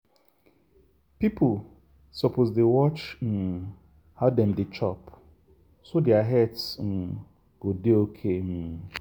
people suppose dey watch um how dem dey chop so their health um go dey okay. um